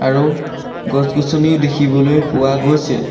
আৰু গছ-গছনিও দেখিবলৈ পোৱা গৈছে।